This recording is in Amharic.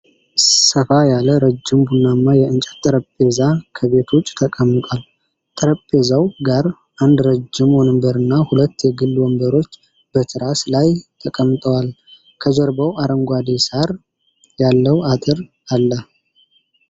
ሰፋ ያለ፣ ረዥም፣ ቡናማ የእንጨት ጠረጴዛ ከቤት ውጪ ተቀምጧል። ጠረጴዛው ጋር አንድ ረጅም ወንበርና ሁለት የግል ወንበሮች በትራስ ላይ ተቀምጠዋል። ከጀርባው አረንጓዴ ሣር ያለው አጥር አለ።